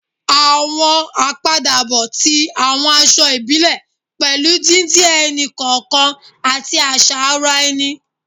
Àwọn àpadàbọ̀ ti àwọn aṣọ ìbílẹ̀ pẹ̀lú didin ẹni-kọọkan àti àṣà ara ẹni